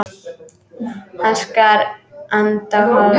Hann skar hana á háls.